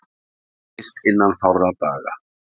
Skýrist innan fárra daga